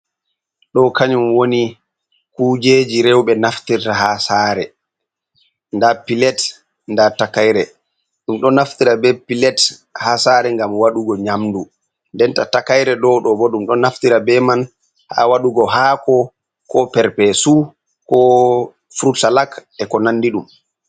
Ɗo kanyum woni kujeji rewɓe naftirta ha sare, nda pilet, nda takaire, ɗum ɗo naftira be pilet ha sare gam waɗugo nyamdu, denta takaire ɗo ɗo bo ɗum ɗo naftira be man ha waɗugo hako ko per pesu ko furut salat e ko nandi ɗum.